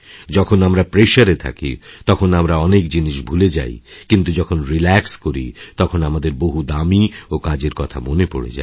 যখন আমরা প্রেশার এ থাকি তখন আমরা অনেক জিনিস ভুলে যাই কিন্তু যখন রিল্যাক্স করি তখন আমাদের বহু দামী ও কাজের কথা মনে পরে যায়